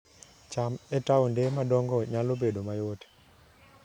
cham e taonde madongo nyalo bedo mayot